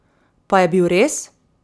Pa je bil res?